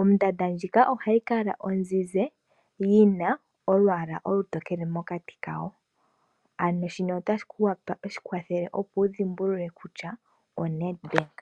Ondanda ndjika ohayi kala ozizi yi na olwaala olutokele mokati kayo. Ano shino ota shi kwathele opo wu dhimbulule kutya oNedbank.